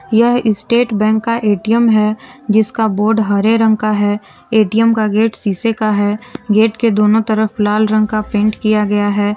यह State Bank का ATM है जिसका बोर्ड हरे रंग का है ए_टी_एम का गेट शीशे का है गेट के दोनों तरफ लाल रंग का पेंट किया गया है।